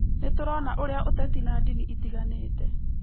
Nĩ tũrona ũrĩa ũteti na ndini itiganĩte